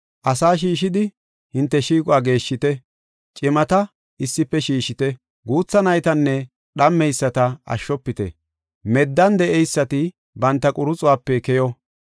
Asaa shiishidi, hinte shiiquwa geeshshite; cimata issife shiishite; guutha naytanne dhammeyisata ashshofite. Meddan de7eysati banta quruxuwape keyo.